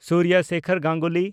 Surya Sekhar Ganguly